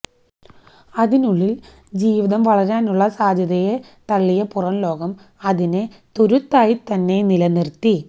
അതിനുള്ളില് ജീവിതം വളരാനുള്ള സാധ്യതയെ തള്ളിയ പുറംലോകം അതിനെ തുരുത്തായിത്തന്നെ നിലനിര്ത്തി